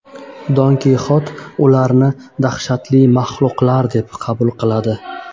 Don Kixot ularni dahshatli mahluqlar deb qabul qiladi.